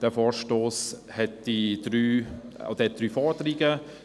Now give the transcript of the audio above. Dieser Vorstoss hier enthält drei Forderungen.